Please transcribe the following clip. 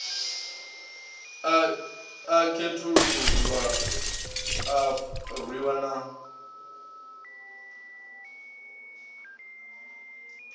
a khethululwa a rwiwa na